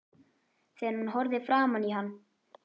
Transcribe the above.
Þegar hún horfði framan í hann